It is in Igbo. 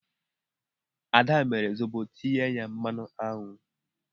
Ad mere Zobo tinye ya mmanụ aṅụ.